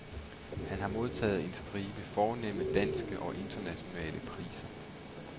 Han har modtaget en stribe fornemme danske og internationale priser.